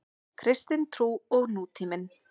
Kristin trú og nútíminn.